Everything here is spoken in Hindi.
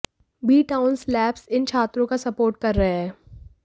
बी टाउन सेलेब्स इन छात्रों का सपोर्ट कर रहे हैं